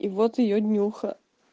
и вот её днюха